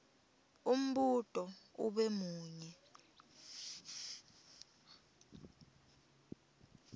umbuto ube munye